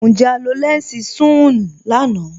Njẹ́ à lọ lẹnsí sùn-un lànà?